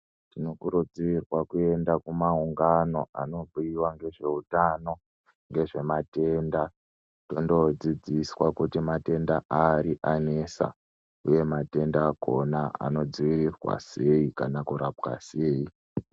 Tinokurudzirwa kuyenda kumaungano anobhiiwa ngezveutano ngezvematenda kondodzidziswa kuti matenda ari anesa uye matenda akhona anodziirirwa sei kana kurapwa sei.